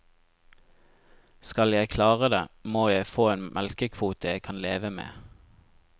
Skal jeg klare det, må jeg få en melkekvote jeg kan leve med.